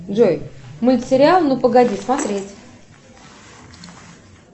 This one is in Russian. джой мультсериал ну погоди смотреть